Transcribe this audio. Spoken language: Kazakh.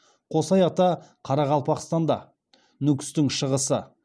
қосай ата қарақалпақстанда нүкістің шығысы